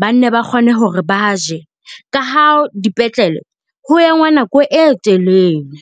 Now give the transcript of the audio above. ba ne ba kgone hore ba je ka haa dipetlele ho engwa nako e telele.